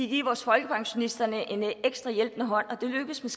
give vores folkepensionister en ekstra hjælpende hånd og det lykkedes med